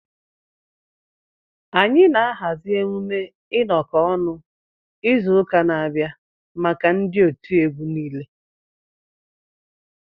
Anyị na-ahazi emume ịnọkọ ọnụ izu ụka na-abịa maka ndị otiegwu nile